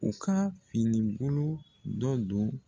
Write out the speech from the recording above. U ka finibolo dɔ don